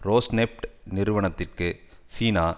Rosneft நிறுவனத்திற்கு சீனா